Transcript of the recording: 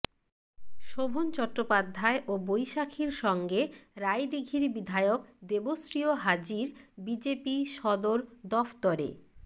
শোভন চট্টোপাধ্যায় ও বৈশাখীর সঙ্গে রায়দিঘির বিধায়ক দেবশ্রীও হাজির বিজেপি সদর দফতরে